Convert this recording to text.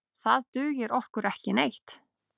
Það dugir okkur ekki neitt.